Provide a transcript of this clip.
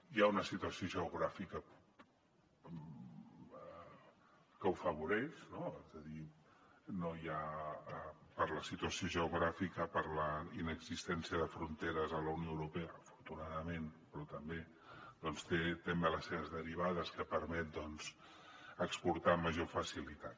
hi ha una situació geogràfica que ho afavoreix no és a dir no hi ha per la situació geogràfica per la inexistència de fronteres a la unió europea afortunadament però també té també les seves derivades que permet doncs exportar amb major facilitat